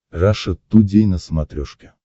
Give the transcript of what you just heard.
раша тудей на смотрешке